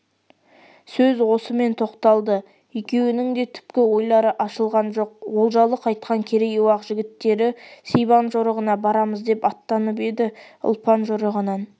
сөз осымен тоқталды екеуінің де түпкі ойлары ашылған жоқ олжалы қайтқан керей-уақ жігіттерісибан жорығына барамыз деп аттанып еді ұлпан жорығынан